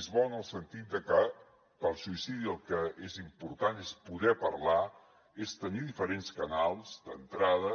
és bo en el sentit de que per al suïcida el que és important és poder parlar és tenir diferents canals d’entrada